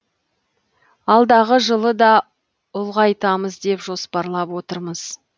алдағы жылы да ұлғайтамыз деп жоспарлап отырмыз